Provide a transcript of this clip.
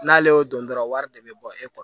N'ale y'o don dɔrɔn wari de bɛ bɔ e kɔrɔ